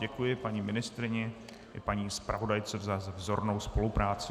Děkuji paní ministryni i paní zpravodajce za vzornou spolupráci.